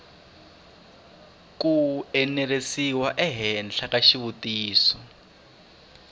ku enerisiwa ehenhla ka xitiviso